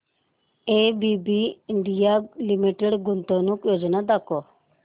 ABB India limited गुंतवणूक योजना दाखव